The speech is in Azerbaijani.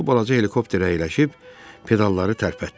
O, balaca helikopterə əyləşib pedalları tərpətdi.